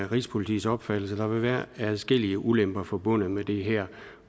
rigspolitiets opfattelse at der vil være adskillige ulemper forbundet med det her